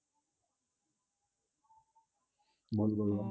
বল বল